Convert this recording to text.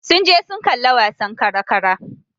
Sun je sun kalla wasan kara-kara.